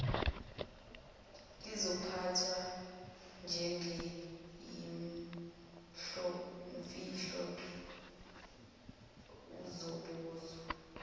izophathwa njengeyimfihlo uzobuzwa